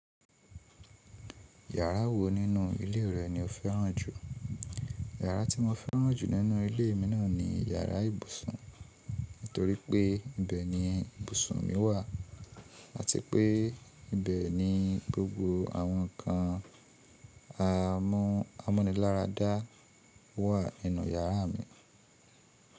Yàrá wo nínú ilé rẹ ni o fẹ́ràn jù? Yàrá tí mo fẹ́ràn jù nínú ilé mi náà ni yàrá ìbùsùn, nítorí pé ibẹ̀ ni ìbùsùn mi wà àti pé ibẹ̀ ni gbogbo àwọn nǹkan amúniláradá wà nínú yàrá mi.